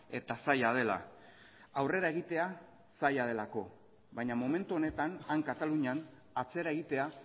eta zaila dela aurrera egitea zaila delako baina momentu honetan han katalunian atzera egitea